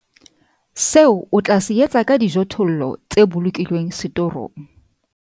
SEO O TLA SE ETSA KA DIJOTHOLLO TSE BOLOKILWENG SETORONG